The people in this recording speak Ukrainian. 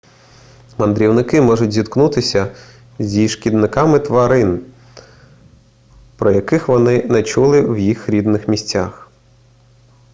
мандрівники можуть зіткнутися зі шкідниками тварин про яких вони не чули в їх рідних місцях